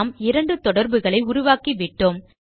நாம் இரண்டு தொடர்புகளை உருவாக்கிவிட்டோம்